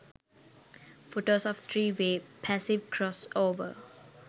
photos of 3 way passive crossover